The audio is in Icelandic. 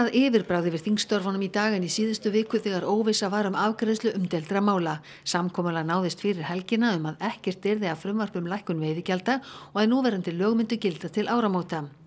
yfirbragð yfir þingstörfunum í dag en í síðustu viku þegar óvissa var um afgreiðslu umdeildra mála samkomulag náðist fyrir helgina um að ekkert yrði af frumvarpi um lækkun veiðigjalda og að núverandi lög myndu gilda til áramóta